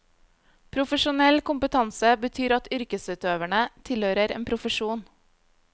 Profesjonell kompetanse betyr at yrkesutøverne tilhører en profesjon.